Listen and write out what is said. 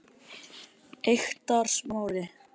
Eyktarsmára